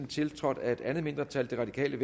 tiltrådt af et mindretal og der kan